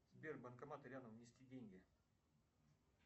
сбер банкоматы рядом внести деньги